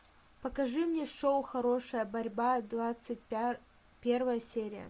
покажи мне шоу хорошая борьба двадцать первая серия